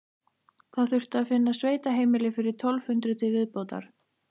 Það þurfti að finna sveitaheimili fyrir tólf hundruð til viðbótar.